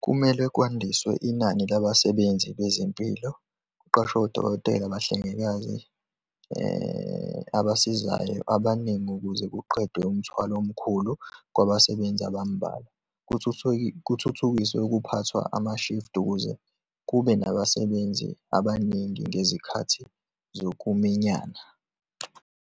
Kumele kwandiswe inani labasebenzi bezempilo, kuqashwe odokotela, abahlengikazi abasizayo abaningi, ukuze kuqedwe umthwalo omkhulu kwabasebenzi abambalwa, kuthuthukiswe ukuphathwa ama-shift ukuze kube nabasebenzi abaningi ngezikhathi zokuminyana.